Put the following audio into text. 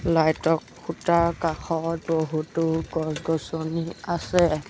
লাইটৰ খোঁটাৰ কাষত বহুতো গছ-গছনি আছে।